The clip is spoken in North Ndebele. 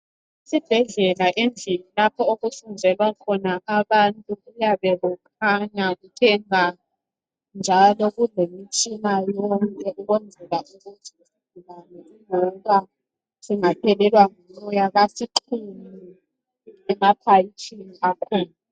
Esibhedlela endlini lapho okusebenzela khona abantu kuyabe kukhanya kuthe bha njalo kulemtshina yonke ukwenzela ukuthi isigulane loba singaphelelwa ngumoya basixhume emaphatshini akhona.